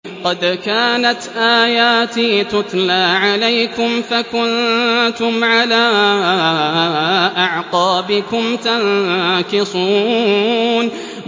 قَدْ كَانَتْ آيَاتِي تُتْلَىٰ عَلَيْكُمْ فَكُنتُمْ عَلَىٰ أَعْقَابِكُمْ تَنكِصُونَ